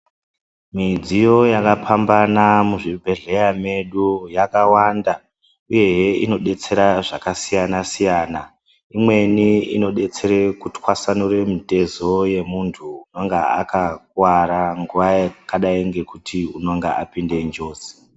Midziyo yakapambana muzvibhedhlera medu yakawanda uyehe inodetsera zvakasiyana siyana imweni inodetsera kutwasanura mitezo yemuntu unenge akakuwara nguwa yekuti anenge apinde njodzi.